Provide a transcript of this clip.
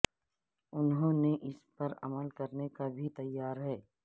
انہوں نے اس پر عمل کرنے کا بھی تیار ہے